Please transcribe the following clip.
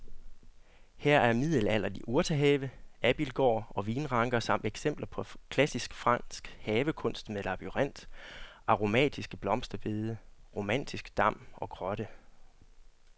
Her er middelalderlig urtehave, abildgård og vinranker samt eksempler på klassisk fransk havekunst med labyrint, aromatiske blomsterbede, romantisk dam og grotte.